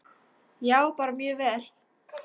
Já, bara mjög vel.